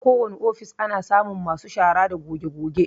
Akowane ofis ana samun masu shara da goge-goge.